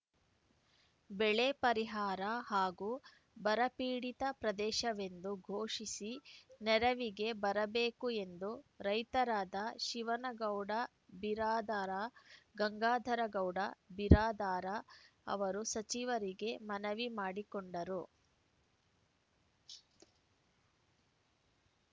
ಬೆಳೆ ಪರಿಹಾರ ಹಾಗೂ ಬರಪೀಡಿತ ಪ್ರದೇಶವೆಂದು ಘೋಷಿಸಿ ನೆರವಿಗೆ ಬರಬೇಕು ಎಂದು ರೈತರಾದ ಶಿವನಗೌಡ ಬಿರಾದಾರ ಗಂಗಾಧರಗೌಡ ಬಿರಾದಾರ ಅವರು ಸಚಿವರಿಗೆ ಮನವಿ ಮಾಡಿಕೊಂಡರು